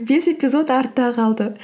бес эпизод артта қалды